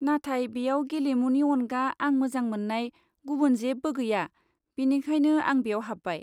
नाथाय बेयाव गेलेमुनि अनगा आं मोजां मोन्नाय गुबुन जेबो गैया, बेनिखायनो आं बेयाव हाब्बाय।